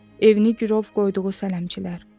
Evini girov qoyduğu sələmçilər.